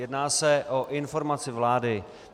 Jedná se o informaci vlády.